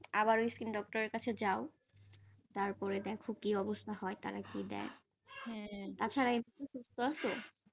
আবার skin doctor এর কাছে যাও, তারপরে দেখ কি অবস্থা হয়, তারা কি দেয়, আচ্ছা আছ?